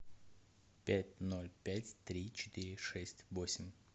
пять ноль пять три четыре шесть восемь